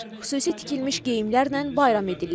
Xüsusi tikilmiş geyimlərlə bayram edirlər.